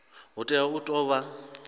hu tea u tou vha